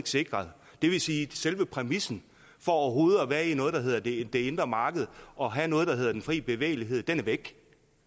sikret det vil sige at selve præmissen for overhovedet at være i noget der hedder det det indre marked og have noget der hedder den frie bevægelighed er væk